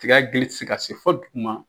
Tiga dili tɛ se ka se fo duguma